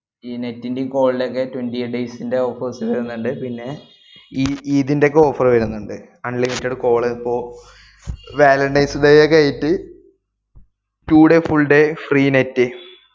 ഈ net ന്‍റേയും call ന്‍റെയൊക്കെ twenty eight days ന്‍റെ offers വരുന്നുണ്ട്. പിന്നെ ഈ ഇതിന്‍റെയൊക്കെ offer വരുന്നുണ്ട്. unlimited call ഇപ്പോ valentine's day കഴിട്ട് two day full day free net